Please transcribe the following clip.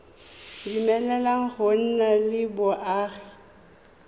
dumeleleng go nna le boagi